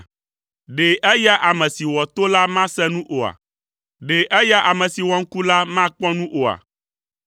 Ɖe eya ame si wɔ to la mase nu oa? Ɖe eya ame si wɔ ŋku la makpɔ nu oa?